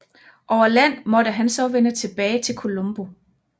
Over land måtte han så vende tilbage til Colombo